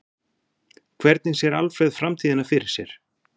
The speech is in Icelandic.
Hvernig sér Alfreð framtíðina fyrir sér?